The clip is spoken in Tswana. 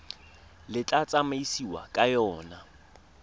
le tla tsamaisiwang ka yona